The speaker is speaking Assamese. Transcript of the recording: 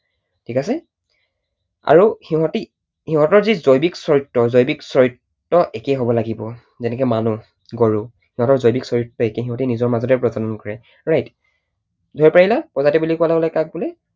ঠিক আছে? আৰু সিহতি, সিহতৰ যি জৈৱিক চৰিত্ৰ, জৈৱিক চৰিত্ৰ একেই হব লাগিব। যেনেকৈ মানুহ, গৰু। সিহতৰ জৈৱিক চৰিত্ৰ একেই, সিহতে নিজৰ মাজতেই প্ৰজনন কৰে right? ধৰিব পাৰিলা? প্ৰজাতি বুলি কোৱাৰ লগে লগে কাক বোলে?